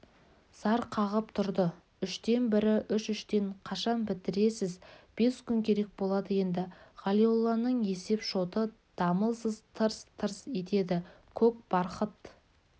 зар қағып тұрды үштен бірі үш - үштен қашан бітіресіз бес күн керек болады енді ғалиолланың есеп-шоты дамылсыз тырс-тырс етеді көк бархыт